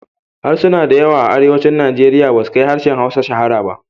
Harsuna da yawa a Arewacin Nigeria basu kai harshen Hausa shahara ba.